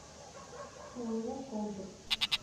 ооо контур